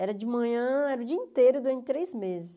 Era de manhã, era o dia inteiro durante três meses.